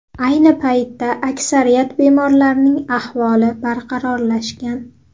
Ayni paytda aksariyat bemorlarning ahvoli barqarorlashgan.